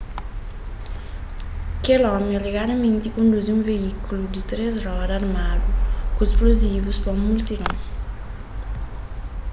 kel omi alegadamenti konduzi un veíkulu di três roda armadu ku splozivus pa un multidon